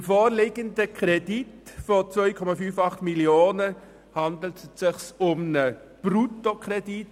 Beim vorliegenden Kredit von 2,58 Mio. Franken handelt es sich um einen Bruttokredit.